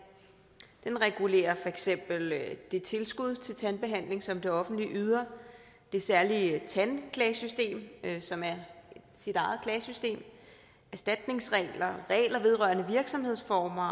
den regulerer for eksempel det tilskud til tandbehandling som det offentlige yder det særlige tandklagesystem som er sit eget klagesystem erstatningsregler regler vedrørende virksomhedsformer